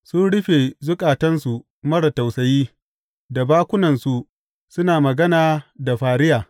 Sun rufe zukatansu marar tausayi, da bakunansu suna magana da fariya.